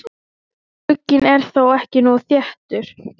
Glugginn er þá ekki nógu þéttur.